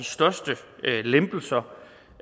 største lempelser